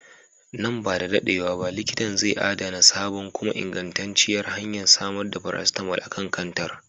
Nan ba da dadewa ba likitan zai adana sabon kuma ingantacciyar hanyar samar da paracetamol a kan kantar.